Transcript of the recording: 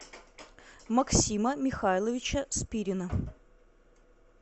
максима михайловича спирина